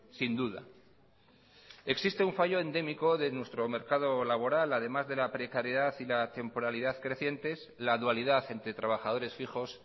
sin duda existe un fallo endémico de nuestro mercado laboral además de la precariedad y la temporalidad crecientes la dualidad entre trabajadores fijos